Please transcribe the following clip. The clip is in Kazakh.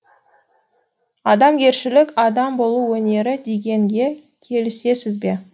адамгершілік адам болу өнері дегенге келісесіз бе